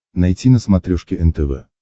найти на смотрешке нтв